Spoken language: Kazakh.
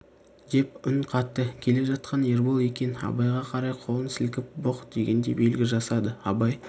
деп үн қатты келе жатқан ербол екен абайға қарай қолын сілкіп бұқ дегендей белгі жасады абай